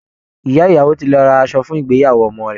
Ìyá ìyàwó ti lọ ra asọ fún ìgbéyàwó ọmọ rẹ̀